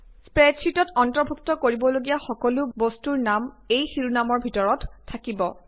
স্প্ৰেডশ্বিটত অন্তৰ্ভুক্ত কৰিবলগীয়া সকলো বস্তুৰ নাম এই শিৰোনামৰ ভিতৰত থাকিব